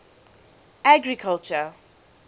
agriculture